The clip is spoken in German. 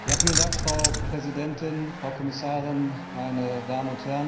Frau Präsidentin, Frau Kommissarin, meine Damen und Herren!